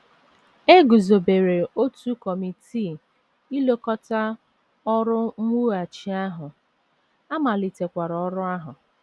E guzobere otu kọmitii ilekọta ọrụ mwughachi ahụ, a malitekwara ọrụ ahụ.